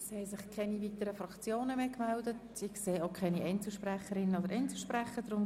Es haben sich keine weiteren Fraktionen und Einzelsprecher gemeldet.